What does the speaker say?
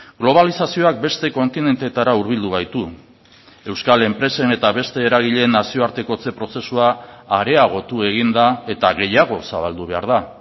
globalizazioak beste kontinenteetara hurbildu gaitu euskal enpresen eta beste eragileen nazioartekotze prozesua areagotu egin da eta gehiago zabaldu behar da